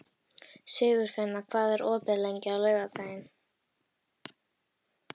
Sigurfinna, hvað er opið lengi á laugardaginn?